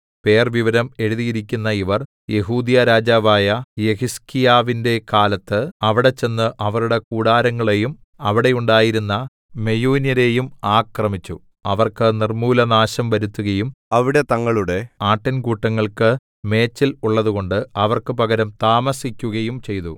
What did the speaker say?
പേർവിവരം എഴുതിയിരിക്കുന്ന ഇവർ യെഹൂദ്യരാജാവായ യഹിസ്കീയാവിന്റെ കാലത്ത് അവിടെ ചെന്ന് അവരുടെ കൂടാരങ്ങളെയും അവിടെ ഉണ്ടായിരുന്ന മെയൂന്യരെയും ആക്രമിച്ചു അവർക്ക് നിർമ്മൂലനാശം വരുത്തുകയും അവിടെ തങ്ങളുടെ ആട്ടിൻകൂട്ടങ്ങൾക്ക് മേച്ചൽ ഉള്ളതുകൊണ്ട് അവർക്ക് പകരം താമസിക്കുകയും ചെയ്തു